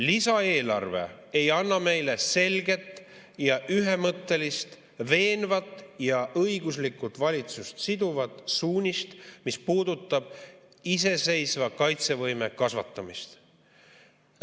Lisaeelarve ei anna meile selget ja ühemõttelist, veenvat ja õiguslikult valitsust siduvat suunist, mis puudutab iseseisva kaitsevõime kasvatamist.